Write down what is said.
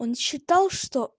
он считал что